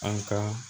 An ka